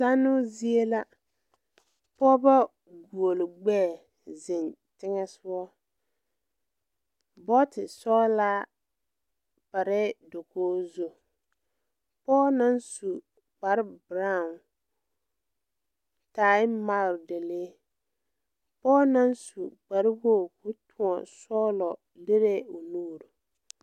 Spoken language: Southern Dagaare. Zanoo zie la pɔɔbɔ guoli gbɛɛ zeŋ teŋɛsugɔ bɔɔti sɔglaa parɛɛ dokoge zu pɔɔ naŋ su kpare braawn tai magredalee pɔɔ naŋ su kpare woge koo tõɔ sɔglɔ lirɛɛ o nuure.